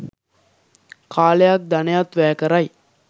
කාලයත් ධනයත් වැය කරයි.